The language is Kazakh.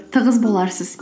тығыз боларсыз